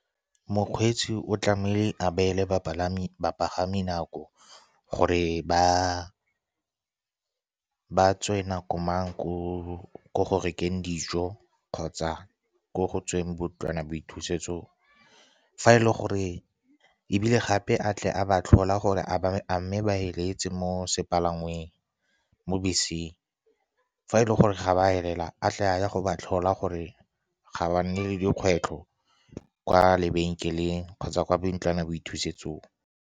Mokgweetsi o tlamehile a beele bapagami nako gore ba tswe nako mang ko go rekeng dijo kgotsa ko go tsweng bontlwana boithusetso, ebile gape a tle a ba tlhola gore a mme bafeletse mo beseng. Fa e le gore ga ba felela, a tle a ye go ba tlhola gore ga ba nne le dikgwetlho kwa lebenkeleng kgotsa kwa bontlwana boithusetsong.